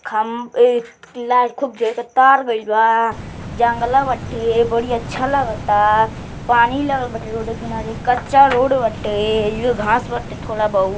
खम ई लाइट खूब जो है कि तार गइल बा जंगला बाटे बड़ी अच्छा लागता पानी लागल बाटे रोड क किनारे कच्चा रोड बाटे इहो घास बाटे थोड़ा बहुत।